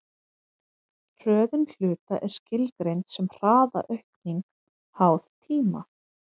hröðun hluta er skilgreind sem hraðaaukning háð tíma